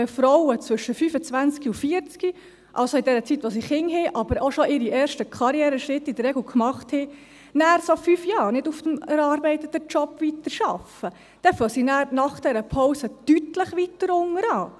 Wenn Frauen zwischen 25 und 40, also in der Zeit, in der sie Kinder haben, aber auch schon ihre ersten Karriereschritte in der Regel gemacht haben, dann für fünf Jahre nicht auf dem erarbeiteten Job weiterarbeiten, dann fangen sie dann nach dieser Pause deutlich weiter unten an.